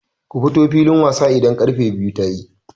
Ku fito filin wasa idan karfe biyu tayi!